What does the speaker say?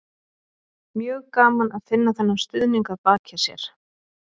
Mjög gaman að finna þennan stuðning að baki sér.